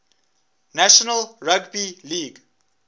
national rugby league